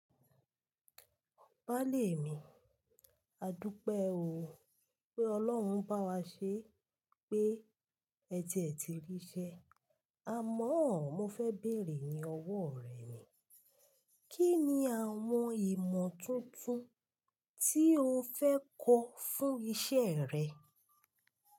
Baálè mi, àdúpé o. Pé Ọlọ́run bá wa ṣe pé ẹti ee ti ríṣẹ́. Ámọ́, mo fẹ́ bèèrè ní ọwọ́ rẹ ni, kí ni àwọn ìmọ̀ tuntun tí o fẹ́ kọ́ fún iṣẹ́ rẹ?